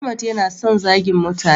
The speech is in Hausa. Ahmad ya na son zagin mutane